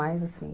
Mais assim...